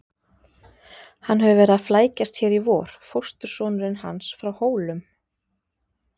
Hann hefur verið að flækjast hér í vor, fóstursonurinn hans frá Hólum.